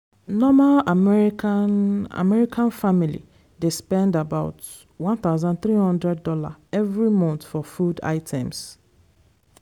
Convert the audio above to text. normal american american family dey spend aboutone thousand three hundred dollarsevery month for food items